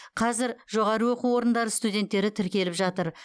қазір жоғары оқу орындары студенттері тіркеліп жатыр